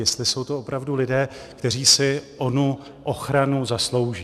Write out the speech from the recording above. Jestli jsou to opravdu lidé, kteří si onu ochranu zaslouží.